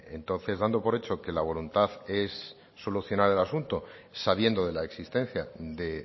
entonces dando por hecho que la voluntad es solucionar el asunto sabiendo de la existencia de